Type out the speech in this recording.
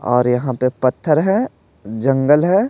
और यहाँ पे पत्थर है जंगल है।